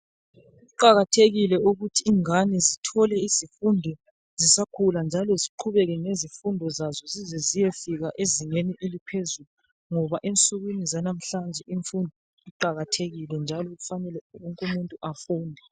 Kuqakathekile ukuthi ingane zithole izifundo zisakhula njalo ziqhubeke ngezifundo zaso ziyefika ezingeni eliphezulu ngoba ensukwini zanamhlanje imfundo iqakathekile njalo kufanele wonke umuntu afunde